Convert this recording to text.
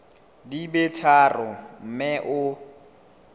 di be tharo mme o